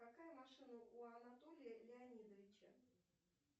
какая машина у анатолия леонидовича